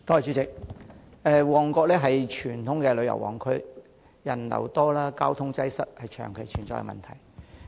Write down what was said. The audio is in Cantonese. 主席，旺角是傳統的旅遊旺區，人流多、交通擠塞是長期存在的問題。